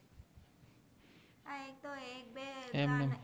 એમ